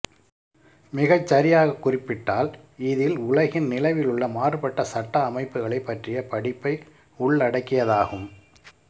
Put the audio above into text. மிகச்சரியாக குறிப்பிட்டால் இதில் உலகின் நிலவிலுள்ள மாறுபட்ட சட்ட அமைப்புகளை பற்றிய படிப்பை உள்ளடக்கியதாகும்